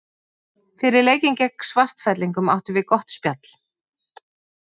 Fyrir leikinn gegn Svartfellingum áttum við gott spjall.